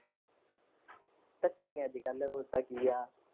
ਧੱਕੇ ਨੇ ਅਜ ਕਲ ਹੋਰ ਤਾਂ ਕੀ ਆ।